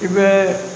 I bɛ